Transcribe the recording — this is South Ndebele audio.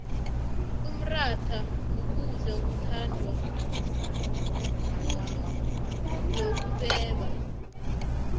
umrhatha kukudla okuthandwa khuulubobeba